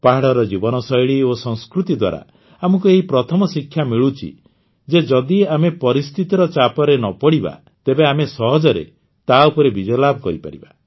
ପାହାଡ଼ର ଜୀବନଶୈଳୀ ଓ ସଂସ୍କୃତି ଦ୍ୱାରା ଆମକୁ ଏଇ ପ୍ରଥମ ଶିକ୍ଷା ମିଳୁଛି ଯେ ଯଦି ଆମେ ପରିସ୍ଥିତିର ଚାପରେ ନ ପଡ଼ିବା ତେବେ ଆମେ ସହଜରେ ତାଉପରେ ବିଜୟଲାଭ କରିପାରିବା